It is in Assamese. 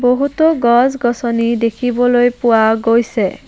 বহুতো গছ গছনি দেখিবলৈ পোৱা গৈছে।